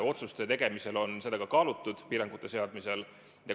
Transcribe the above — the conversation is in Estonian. Otsuste tegemisel ja piirangute seadmisel on seda kaalutud.